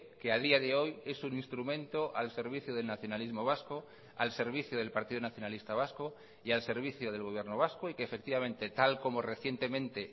que a día de hoy es un instrumento al servicio del nacionalismo vasco al servicio del partido nacionalista vasco y al servicio del gobierno vasco y que efectivamente tal como recientemente